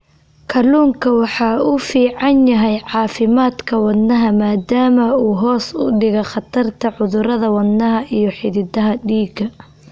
Kalluunku waxa uu u fiican yahay caafimaadka wadnaha maadaama uu hoos u dhigo khatarta cudurrada wadnaha iyo xididdada dhiigga.